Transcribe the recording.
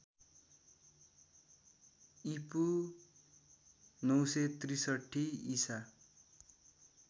ईपू ९६३ ईसा